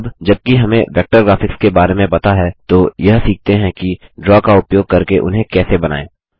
अब जब कि हमें वेक्टर ग्राफिक्स के बारे में पता है तो यह सीखते हैं कि ड्रा का उपयोग करके उन्हें कैसे बनाएँ